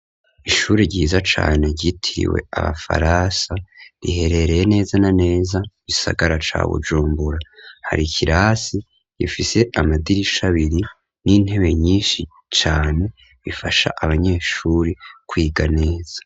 Ishure ryiza cane, ryitiriwe Abafaransa ,riherereye neza na neza ,mu gisagara ca Bujumbura, hari kirasi gifise, amadirisha abiri, n'intebe nyishi cane, zifasha Abanyeshure kwiga neza.